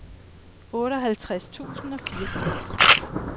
otteoghalvtreds tusind og fireogfirs